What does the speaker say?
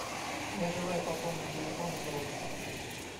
я желаю пополнить телефон родственника